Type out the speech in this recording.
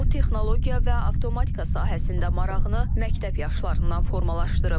O texnologiya və avtomatika sahəsində marağını məktəb yaşlarından formalaşdırıb.